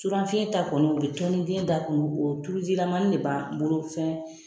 Surafiyɛn ta kɔni u bɛ tɔni den da kɔnɔ o tulujilamani de b'an bolo fɛn